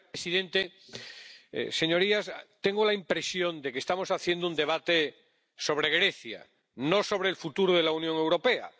Señor presidente, señorías, tengo la impresión de que estamos haciendo un debate sobre Grecia, no sobre el futuro de la Unión Europea.